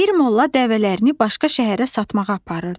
Bir molla dəvələrini başqa şəhərə satmağa aparırdı.